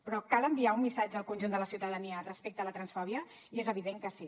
però cal enviar un missatge al conjunt de la ciutadania respecte a la transfòbia i és evident que sí